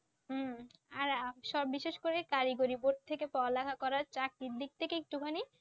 হম। আর সব বিশেষ করে কারিগরি, বোর্ড থেকে পড়া লেখা করা চাকরির দিক থেকে একটুখানি